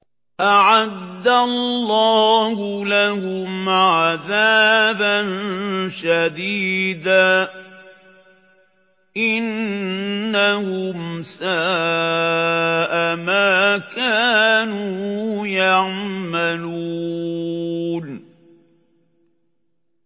أَعَدَّ اللَّهُ لَهُمْ عَذَابًا شَدِيدًا ۖ إِنَّهُمْ سَاءَ مَا كَانُوا يَعْمَلُونَ